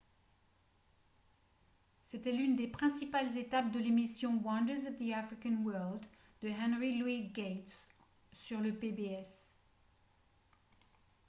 c'était l'une des principales étapes de l'émission « wonders of the african world » de henry louis gates sur le pbs